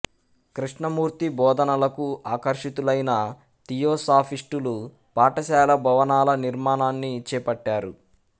కృష్ణమూర్తి బోధనలకు ఆకర్షితులైన థియోసాఫిస్టులు పాఠశాల భవనాల నిర్మాణాన్ని చేపట్టారు